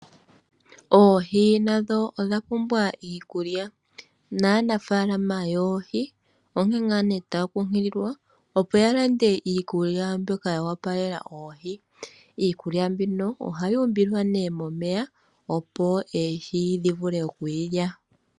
Oohi nadho odha pumbwa iikulya naa nafaalama yoohi onke ngaa ne taankunkulilwa opo ya lande iikulya mbyoka ya wapalela oohi, iikulya mbino oha yi umbilwa nee momeya opo oohi dhi vule oku yi lya.